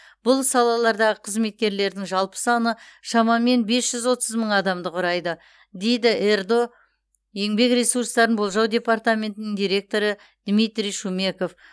бұл салалардағы қызметкерлердің жалпы саны шамамен бес жүз отыз мың адамды құрайды дейді ердо еңбек ресурстарын болжау департаментінің директоры дмитрий шумеков